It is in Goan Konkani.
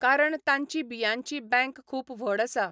कारण तांची बियांची बँक खूब व्हड आसा!